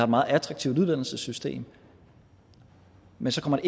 meget attraktivt uddannelsessystem men så kommer